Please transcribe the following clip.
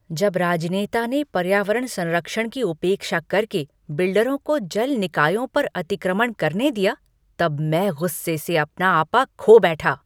जब राजनेता ने पर्यावरण संरक्षण की उपेक्षा कर के बिल्डरों को जल निकायों पर अतिक्रमण करने दिया तब मैं गुस्से से अपना आपा खो बैठा।